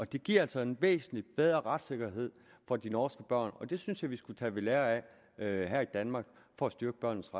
det giver altså en væsentlig bedre retssikkerhed for de norske børn og det synes jeg at vi skulle tage ved lære af her i danmark for at styrke børnenes